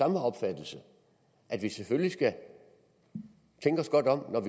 den opfattelse at vi selvfølgelig skal tænke os godt om når